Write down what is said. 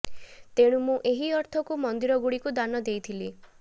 ତେଣୁ ମୁଁ ଏହି ଅର୍ଥକୁ ମନ୍ଦିର ଗୁଡ଼ିକୁ ଦାନ ଦେଇଥିଲି